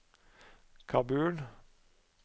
Kabul